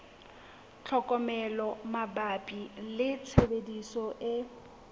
tlhokomelo mabapi le tshebediso e